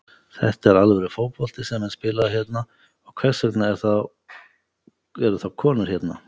Þetta er alvöru fótbolti sem er spilaður hérna og hvers vegna er þá konur hérna?